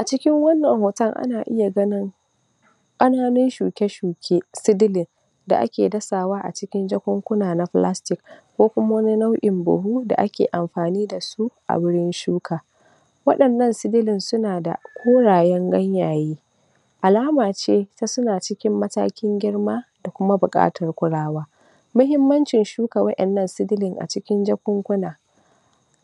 acikin wannan hotan ana iya ganin ƙananu shuke-shuke seedling da ake dasawa acikin jakukkun plastic kokuma wani nauin buhu da aki anfani dasu a gurin shuka wa'inan seedling sunada korayan ganyaye alamaci tasuna cikin matakin girma dakuma buƙatar kulawa mahimmancin shuka wa'inan seedling a cikin jakukkuna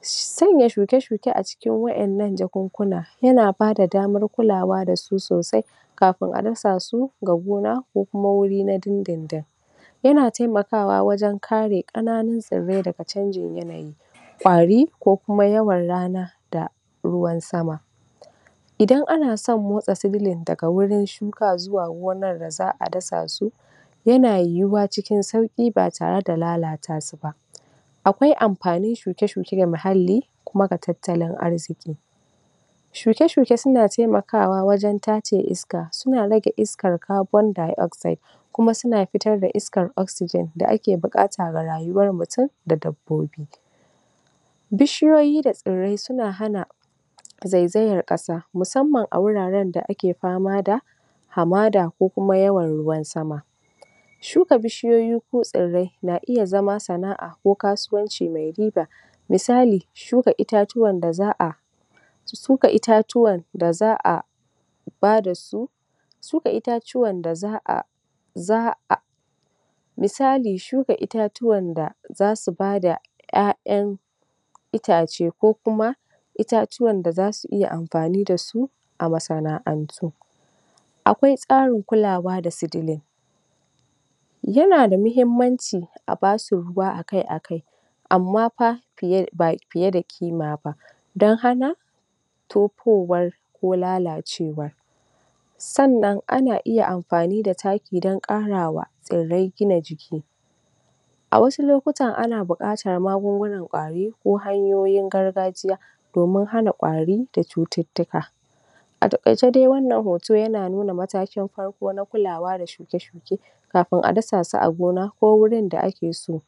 sanya shuke shuke acikin wa'inan jakukkuna yana bada damar kulawa dasu sosai kafin adasasu ga gona kokuma wari na dindindin ya taimakawa wajan kare ƙananu tsirrai daha cangin yanayi ƙwari kokuma yawan rana da ruwan sama idan anasan motsa seedling daga gurin shuka zuwa gonan daza'a dasasu yana yuwa cikin sauki batare da lalatasu ba akwai anfani shuke-shuke ga mahalli kuma da tattalin arzƙi shuke shuke suna taimakawa wajan tace iska suna rage iskan carbon dioxide kuma suna futar da iskan oxygen da aki buƙata ga rayuwa mutun da dabbobi bishiyoyi da tsirrai suna hana zaizayar ƙasa musamman a guraran da aki famada hamada kokuma yawan ruwan sama shuka bishiyoyi ko tsirrai na iya zama sana'a ko kasuwanci mai riɓa misali shuka itatuwan daza'a shuka itatuwa da za'a badasu shuka itatuwan daza'a za'a misali shuka itatuwan zasu bada ƴaƴan itaci kokuma itatuwan da zasu iya anfani dasu a masana'antu akwai tsarin kulawa da seedling yanada mahimmanci abasu ruwa akai akia ammafa um ba fiyeda kimaba dan hana tofuwar ko lalacewa sannan ana yiya anfani da taki dan ƙarawa tsirrai gina jiki awasu lokutan ana buƙatar magunguna ƙwari ko hanyoyin gargajiya domin hana ƙwari da cutiktika ataƙaice dai wannan hoto yana nuna matakin farko na kulawa da shuke shuke kafin a dasasu a gona ko gurin da akiso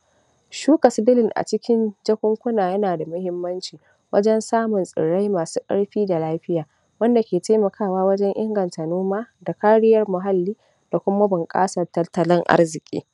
shuka seedling acikin jakunkuna yanada mahimmanci wajan samun tsirrai masu ƙarfi da lafiya wanda ki taimakawa wajan inganta noma da kariyan mahalli dakuma bunƙasan tattalin arziƙi